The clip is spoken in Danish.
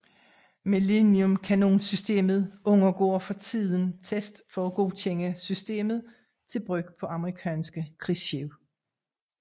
Millennium kanonsystemet undergår for tiden tests for at godkende systemet til brug på amerikanske krigsskibe